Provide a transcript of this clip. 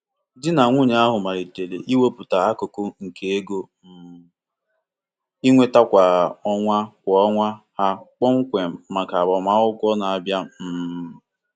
Ndị lụrụ di na nwunye ọhụrụ wepụtara ụzọ atọ n'ụzọ anọ n'ime ego ha na-enweta kwa ọnwa maka ije ezumike ndị lụrụ di na nwunye ọhụrụ.